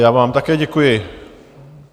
Já vám také děkuji.